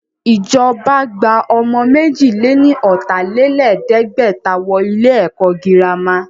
Ìjọba gba ọmọ méjì lè ní ọ̀tà-lé-lẹ̀ẹ́dẹ́gbẹ̀ta wọ ilé ẹ̀kọ́ girama